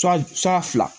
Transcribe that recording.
Sura sura fila